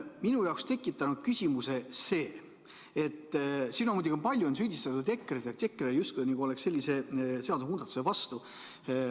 Minu jaoks on tekitanud küsimuse see, et siin on palju süüdistatud EKRE-t, justkui EKRE oleks selle seadusmuudatuse vastu.